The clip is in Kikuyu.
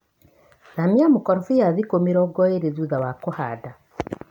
Thania mũkorobia thikũ mĩrongo ĩrĩ thutha wa kũhanda.